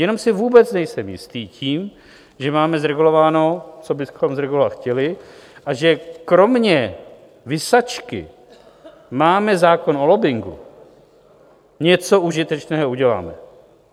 Jenom si vůbec nejsem jistý tím, že máme zregulováno, co bychom zregulovat chtěli, a že kromě visačky "máme zákon o lobbingu" něco užitečného uděláme.